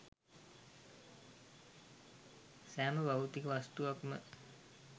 සෑම භෞතික වස්තුවක් ම